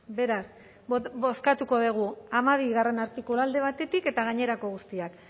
beraz bozkatuko dugu hamabigarrena artikulua alde batetik eta gainerako guztiak